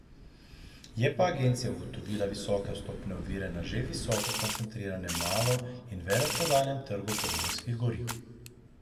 Je pa Agencija ugotovila visoke vstopne ovire na že visoko koncentriranem malo in veleprodajnem trgu pogonskih goriv.